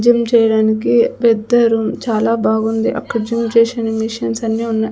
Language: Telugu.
జిమ్ చేయడానికి పెద్ద రూమ్ చాలా బాగుంది అక్కడ జిమ్ చేసిన మిషన్స్ అన్ని ఉన్నా--